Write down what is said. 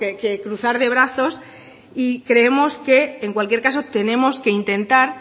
que cruzar de brazos y creemos que en cualquier caso tenemos que intentar